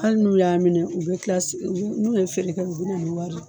ali n'u y'a minɛ u be se n'u ye feere kɛ u be na ni wari ye